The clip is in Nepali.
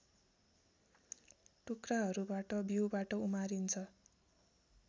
टुक्राहरूबाट बीउबाट उमारिन्छ